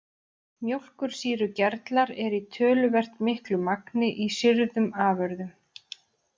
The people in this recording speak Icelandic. Mjólkursýrugerlar eru í töluvert miklu magni í sýrðum afurðum.